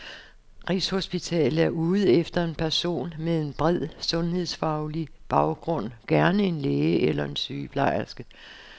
Rigshospitalet er ude efter en person med en bred, sundhedsfaglig baggrund, gerne en læge eller en sygeplejerske.